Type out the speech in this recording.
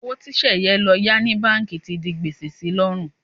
Owó tí Sẹ̀yẹ lọ yá ní báǹkì ti di gbèsè si lọ́rùn.